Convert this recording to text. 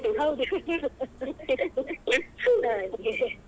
ಹೌದು ಹಾಗೆ.